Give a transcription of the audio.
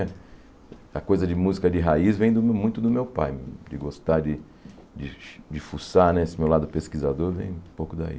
A coisa de música de raiz vem do muito do meu pai, de gostar de de fuçar né, esse meu lado pesquisador vem um pouco daí.